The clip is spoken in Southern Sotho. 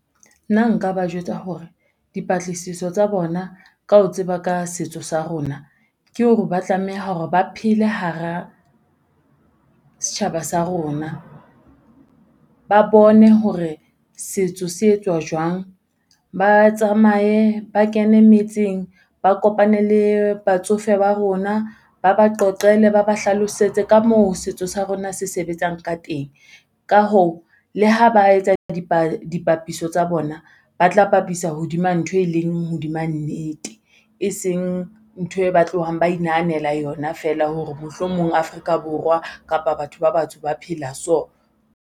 Nna nka ba jwetsa hore dipatlisiso tsa bona ka ho tseba ka setso sa rona, ke hore ba tlameha hore ba phele hara setjhaba sa rona. Ba bone hore setso se etswa jwang, ba tsamaye, ba kene metseng, ba kopane le batsofe ba rona, ba ba qoqele ba ba hlalosetse ka moo setso sa rona se sebetsang ka teng. Ka hoo, le ha ba etsa dipapiso tsa bona ba tla bapisa hodima ntho e leng hodima nnete, e seng ntho e ba tlohang ba inahanela yona fela hore mohlomong Afrika Borwa kapa batho ba batsho ba phela so.